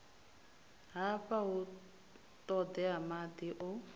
hafha hu ṱoḓea maḓi o